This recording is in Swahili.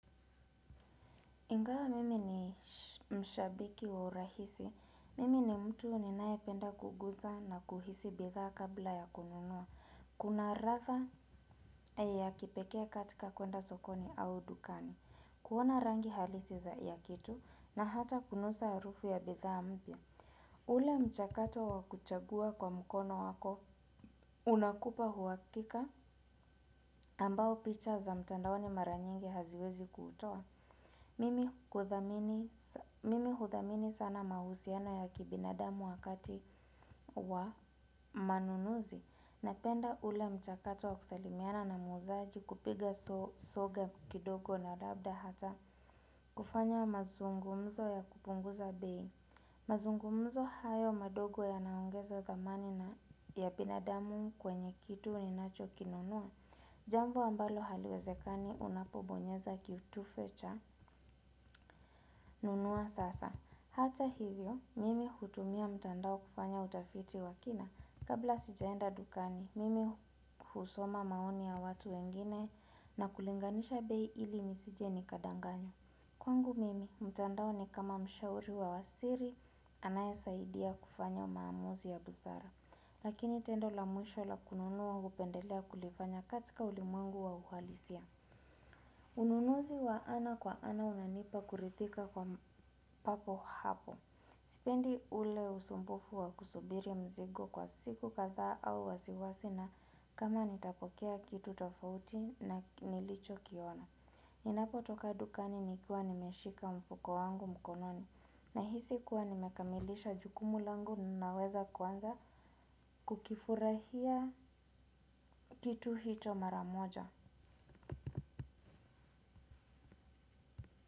Ingawa mimi ni mshabiki wa urahisi, mimi ni mtu ninayependa kuguza na kuhisi bidhaa kabla ya kununua. Kuna ratha ya kipekee katika kuenda sokoni au dukani, kuona rangi halisi za ya kitu na hata kunusa harufu ya bidhaa mpya. Ule mchakato wa kuchagua kwa mkono wako, unakupa uhakika ambao picha za mtandaoni mara nyingi haziwezi kuutoa. Mimi mimi huthamini sana mahusiano ya kibinadamu wakati wa manunuzi, napenda ule mchakato wa kusalimiana na muuzaji, kupiga soga kidogo na labda hata kufanya mazungumzo ya kupunguza bei. Mazungumzo hayo madogo yanaongeza thamani na ya binadamu kwenye kitu ninacho kinunua. Jambo ambalo haliwezekani unapobonyeza kitufe cha nunua sasa. Hata hivyo, mimi hutumia mtandao kufanya utafiti wa kina. Kabla sijaenda dukani, mimi husoma maoni ya watu wengine na kulinganisha bei ili nisije nikadanganywa. Kwangu mimi, mtandao ni kama mshauri wa siri, anayesaidia kufanya maamuzi ya busara. Lakini tendo la mwisho la kununua hupendelea kulifanya katika ulimwengu wa uhalisia. Ununuzi wa ana kwa ana unanipa kurithika kwa papo hapo. Sipendi ule usumbufu wa kusubiri mzigo kwa siku kadhaa au wasiwasi na kama nitapokea kitu tofauti na nilichokiona. Ninapotoka dukani nikiwa nimeshika mfuko wangu mkononi. Nahisi kuwa nimekamilisha jukumu langu, na ninaweza kuanza kukifurahia kitu hito maramoja.